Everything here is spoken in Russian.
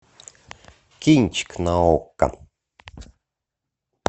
кинчик на окко